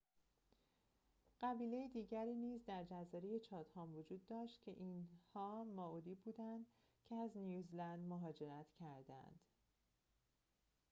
قبیله دیگری نیز در جزایر چاتهام وجود داشت که اینها مائوری بودند که از نیوزیلند مهاجرت کردخه‌اند